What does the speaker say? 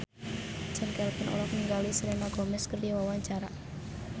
Chand Kelvin olohok ningali Selena Gomez keur diwawancara